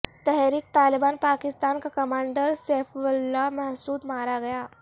تحریک طالبان پاکستان کا کمانڈر سیف اللہ محسود مارا گیا